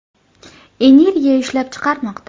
energiya ishlab chiqarmoqda.